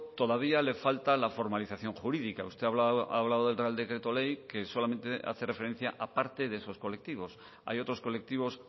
todavía le falta la formalización jurídica usted ha hablado del real decreto ley que solamente hace referencia a parte de esos colectivos hay otros colectivos